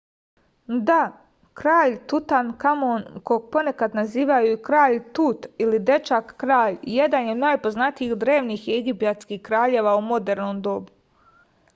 da kralj tutankamon kog ponekad nazivaju i kralj tut ili dečak kralj jedan je od najpoznatijih drevnih egipatskih kraljeva u modernom dobu